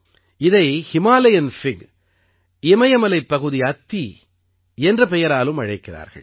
இதை Himalayan fig இமயமலைப்பகுதி அத்தி என்ற பெயராலும் அழைக்கிறார்கள்